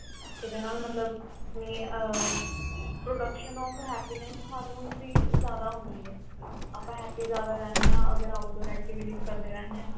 ਇਹਦੇ ਨਾਲ ਮਤਲਬ ਮੈਂ ਆ production of happiness hormones ਦੀ ਜਿਆਦਾ ਹੁੰਦੀ ਏ ਆਪਾਂ happy ਜਿਆਦਾ ਰਹਿੰਦੇ ਆ ਅਗਰ outdoor activities ਕਰਦੇ ਰਹਿਣੇ ਆ